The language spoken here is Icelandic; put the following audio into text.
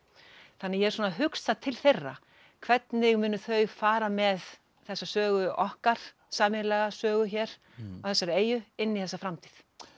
þannig að ég er svona að hugsa til þeirra hvernig munu þau fara með þessa sögu okkar sameiginlega sögu hér á þessari eyju inn í þessa framtíð